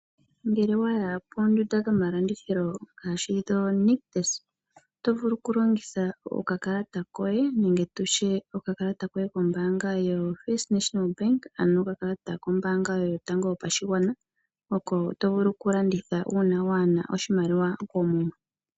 Ngele wa ya poondunda dhomalandithilo ngaashi dhoNictus, oto vulu okulongitha okakalata koye kombaanga yotango yopashigwana, oko to vulu okulanditha uuna waa na oshimaliwa koomuma.